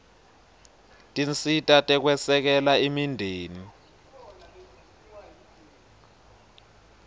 tinsita tekwesekela imindeni